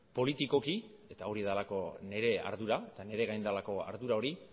politikoki eta hori delako nire ardura eta niregain delako ardura hori